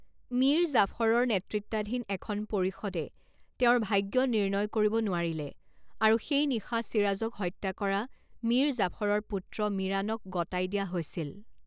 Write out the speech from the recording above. মীৰ জাফৰৰ নেতৃত্বাধীন এখন পৰিষদে তেওঁৰ ভাগ্য নিৰ্ণয় কৰিব নোৱাৰিলে আৰু সেই নিশা ছিৰাজক হত্যা কৰা মীৰ জাফৰৰ পুত্ৰ মিৰাণক গতাই দিয়া হৈছিল।